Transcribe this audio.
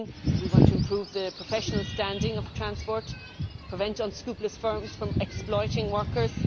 We want to improve the professional standing of transport and prevent unscrupulous firms from exploiting workers.